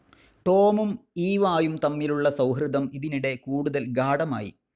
ടോമും ഈവായും തമ്മിലുള്ള സൗഹൃദം ഇതിനിടെ കൂടുതൽ ഗാഢമായി.